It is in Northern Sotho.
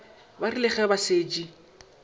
ba rile ge ba šetše